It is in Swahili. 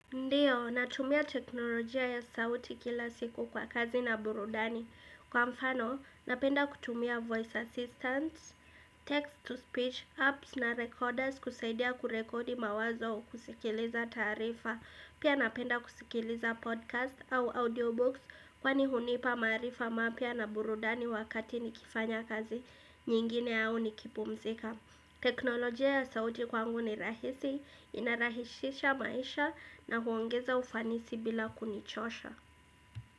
Ndiyo, natumia teknolojia ya sauti kila siku kwa kazi na burudani Kwa mfano, napenda kutumia voice assistants, text to speech, apps na recorders kusaidia kurekodi mawazo kusikiliza taarifa Pia napenda kusikiliza podcast au audiobooks kwani hunipa maarifa mapya na burudani wakati nikifanya kazi nyingine au nikipumzika teknolojia ya sauti kwangu ni rahisi, inarahisisha maisha na huongeza ufanisi bila kunichosha.